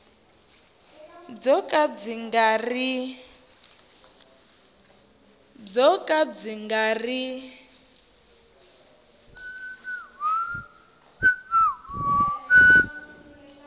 byo ka byi nga ri